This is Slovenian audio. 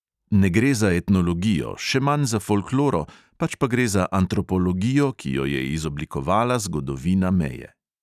Ne gre za etnologijo, še manj za folkloro, pač pa gre za antropologijo, ki jo je izoblikovala zgodovina meje.